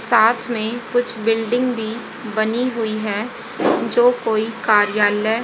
साथ में कुछ बिल्डिंग भी बनी हुई हैं जो कोई कार्यालय--